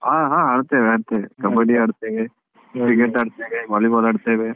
ಹಾ ಹಾ ಆಡ್ತೇವೆ ಆಡ್ತೇವೆ Kabbadi ಆಡ್ತೇವೆ cricket ಆಡ್ತೇವೆ volley ball ಆಡ್ತೇವೆ